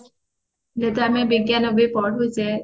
ଯଦି ଆମେ ବିଜ୍ଞାନକୁ ପଢୁଛେ